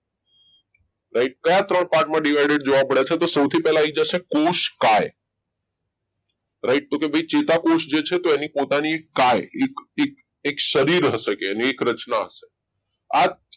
right કયા ત્રણ part divided જોવા મળે છે તો સૌથી પહેલા આવી જશે કોષકાય right તો કે ભાઈ ચેતાકોષ જે છે એને પોતાની કાઈ એક એક સારી હશે કે એક રચના થશે આ